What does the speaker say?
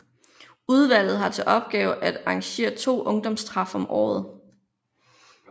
Udvalget har til opgave at arrangere 2 ungdomstræf om året